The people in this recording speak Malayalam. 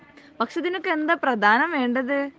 പക്ഷെ ഇതിനൊക്കെ എന്താ പ്രധാനം വേണ്ടത്